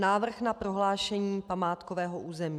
Návrh na prohlášení památkového území.